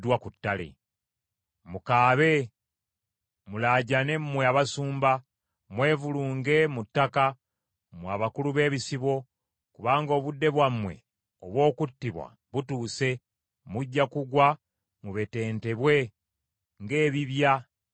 Mukaabe mulaajane mmwe abasumba, mwevulunge mu ttaka, mmwe abakulu b’ebisibo. Kubanga obudde bwammwe obw’okuttibwa butuuse mujja kugwa mubetentebwe ng’ebibya eby’ebbumba.